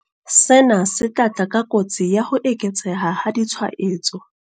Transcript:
Sena se tla tla ka kotsi ya ho eketseha ha ditshwaetso.